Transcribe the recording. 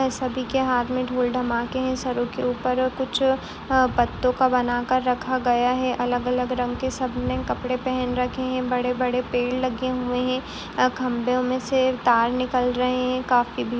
सभी के हाथ मे ढोल धमाके हैं सरो के ऊपर कुछ अ पत्तों का बना कर रखा गया है अलग अलग रंग के सबने कपड़े पहन रखे है| बड़े बड़े पेड़ लगे हुए है | खंबों मे से तार निकल रहे हैं काफी --